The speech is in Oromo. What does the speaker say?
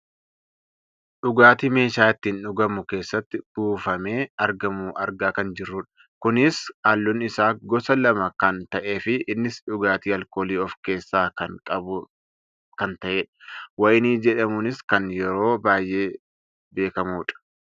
dhugaatii meeshaa ittiin dhugamu keessatti buufamee argamu argaa kan jirrudha. kunis halluun isaa gosa lama kan ta'eefi innis dhugaatii aalkoolii of keessaa qabu kan ta'edha. wayinii jedhamuunis kan yeroo baayyee beekkamudha.